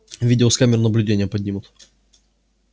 видео с камер наблюдения поднимут